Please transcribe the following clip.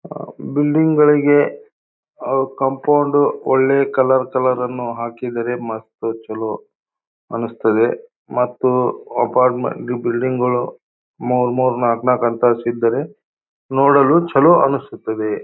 ಆಹ್ಹ್ building ಗಳಿಗೆ ಅಹ್ compound ಒಳ್ಳೆಯ ಕಲರ್ ಕಲರ್ ಅನ್ನು ಹಾಕಿದ್ದಾರೆ ಮತ್ತ್ ಚಲೋ ಅನಿಸ್ತದೆ ಮತ್ತು ಅಪಾರ್ಟ್ಮೆಂ ಬಿಲ್ಡಿಂಗ್ ಗಳು ಮೂರ್ ಮೂರ್ ನಾಲ್ಕ್ ನಾಲ್ಕ್ ಅಂತಸ್ತ್ ಇದ್ದಾರೆ ನೋಡಲು ಚಲೋ ಅನ್ನಿಸ್ತದೆ.